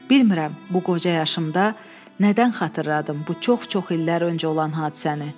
Bilmirəm, bu qoca yaşımda nədən xatırladım bu çox-çox illər öncə olan hadisəni.